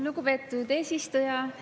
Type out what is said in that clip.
Lugupeetud eesistuja!